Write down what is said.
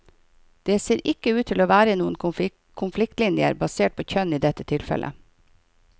Det ser ikke ut til å være noen konfliktlinjer basert på kjønn i dette tilfellet.